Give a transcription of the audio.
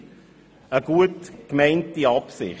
Eine gut gemeinte Absicht.